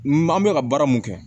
N an bɛ ka baara mun kɛ